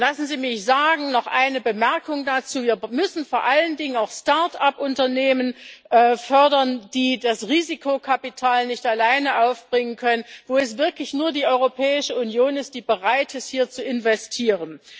Lassen Sie mich noch eine Bemerkung dazu sagen Wir müssen vor allen Dingen auch Start up Unternehmen fördern, die das Risikokapital nicht alleine aufbringen können, wo es wirklich nur die Europäische Union ist, die bereit ist, hier zu investieren.